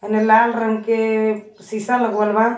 एने लाल रंग के सीसा लगवल बा।